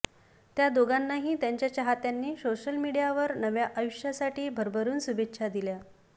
त्या दोघांनाही त्यांच्या चाहत्यांनी सोशल मीडियावर नव्या आयुष्यासाठी भरभरून शुभेच्छा दिल्या